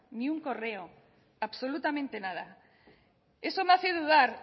ni un correo absolutamente nada eso me hace dudar